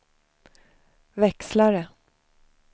växlare